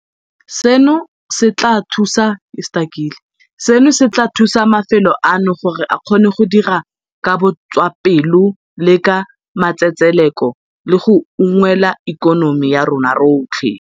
Seno se tla thusa mafelo ano gore a kgone go dira ka botswapelo le ka matsetseleko le go unngwela ikonomi ya rona yotlhe.